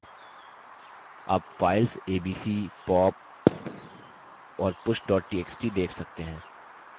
आप files abc pop और push txt देख सकते हैं